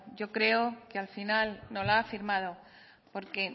yo creo que al final no la ha firmado porque